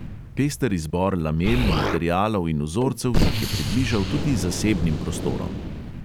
Pester izbor lamel, materialov in vzorcev jih je približal tudi zasebnim prostorom.